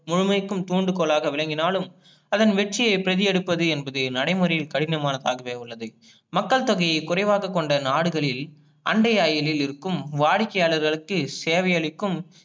முழுமைக்கும் தூண்டுகோலாக விலங்கினாளும் அதன் வெற்றியை பிரதி எடுப்பது என்பது நடைமுறையில் கடினமாகவே உள்ளது, மக்கள் தொகையை குறைவாக கொண்ட நாடுகளில் அண்டையாயிலில் இருக்கும் வாடிக்கையாளர்களுக்கு சேவை அளிக்கும்